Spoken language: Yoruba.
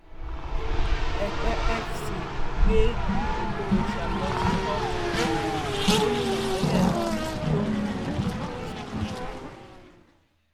ẹpẹ fc gbé oko rocha lọ sí kóòtù gómìnà tẹlẹ náà lòun kò jẹbi